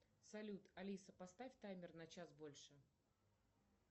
салют алиса поставь таймер на час больше